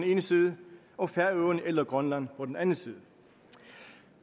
ene side og færøerne eller grønland på den anden side